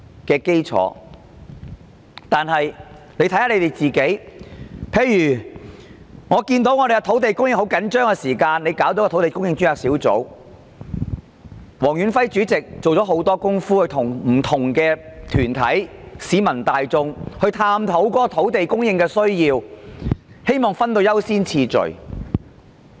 舉例而言，香港的土地供應十分緊張，政府便成立土地供應專責小組，黃遠輝主席做了很多工夫，跟不同團體和市民大眾一起探討土地供應的需要，希望訂下優先次序。